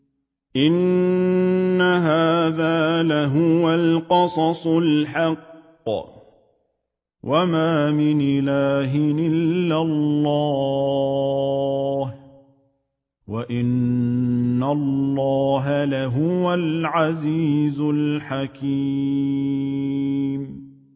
إِنَّ هَٰذَا لَهُوَ الْقَصَصُ الْحَقُّ ۚ وَمَا مِنْ إِلَٰهٍ إِلَّا اللَّهُ ۚ وَإِنَّ اللَّهَ لَهُوَ الْعَزِيزُ الْحَكِيمُ